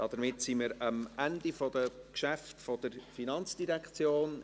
Damit sind wir am Ende der Geschäfte der FIN angelangt.